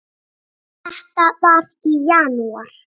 Þetta var í janúar.